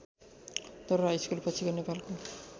दरवार हाइस्कुलपछिको नेपालको